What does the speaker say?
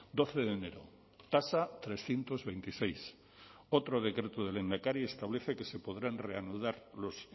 doce de enero tasa trescientos veintiséis otro decreto de lehendakari establece que se podrán reanudar los